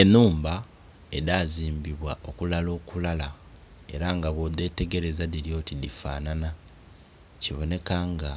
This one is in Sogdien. Enhumba edhazimbibwa okulala okulala ela nga bwodhetegereza dhili oti dhifanhanha, kibonheka nga